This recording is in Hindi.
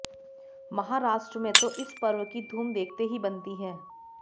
महाराष्ट्र में तो इस पर्व की धूम देखते ही बनती है